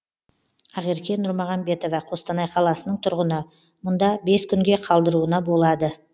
ақерке нұрмағамбетова қостанай қаласының тұрғыны мұнда бес күнге қалдыруына болады